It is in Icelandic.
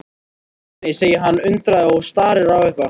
Nei, nei, segir hann undandi og starir á eitthvað.